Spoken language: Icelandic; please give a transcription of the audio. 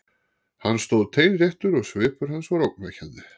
Hann stóð teinréttur og svipur hans var ógnvekjandi.